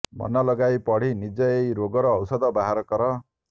ମନଲଗାଇ ପଢି ନିଜେ ଏହି ରୋଗର ଔଷଧ ବାହାର କର